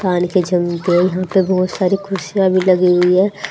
पान के चलते यहां पे बहोत सारी कुर्सियां भी लगी हुई है।